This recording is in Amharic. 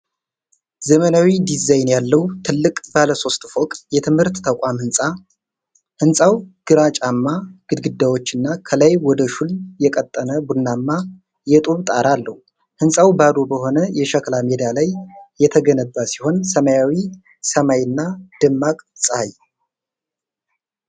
ዘመናዊ ዲዛይን ያለው ትልቅ ባለሦስት ፎቅ የትምህርት ተቋም ህንፃ ። ህንጻው ግራጫማ ግድግዳዎችና ከላይ ወደ ሹል የቀጠነ ቡናማ የጡብ ጣራ አለው። ህንፃው ባዶ በሆነ የሸክላ ሜዳ ላይ የተገነባ ሲሆን፣ ሰማያዊ ሰማይ እና ደማቅ ጸሐይ።